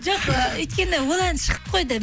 жоқ ы өйткені ол ән шығып қойды